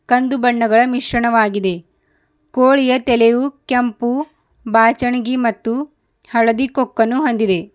ಕಂದು ಬಣ್ಣಗಳ ಮಿಶ್ರಣವಾಗಿದೆ ಕೋಳಿಯ ತಲೆಯು ಕೆಂಪು ಬಾಚನಗಿ ಮತ್ತು ಹಳದಿ ಕೊಕ್ಕನ್ನು ಹೊಂದಿದೆ.